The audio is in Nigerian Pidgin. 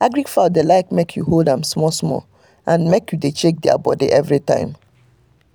agric fowl dey like make you hold am small small and make u dey check their body everytime